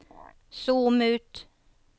zoom ut